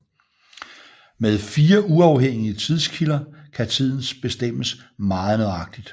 Med fire uafhængige tidskilder kan tiden bestemmes meget nøjagtigt